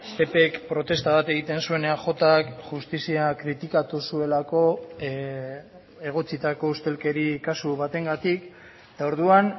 ppk protesta bat egiten zuen eajk justizia kritikatu zuelako egotzitako ustelkeri kasu batengatik eta orduan